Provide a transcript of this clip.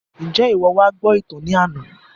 Njẹ iwọ wá gbọ ìtàn ní àna?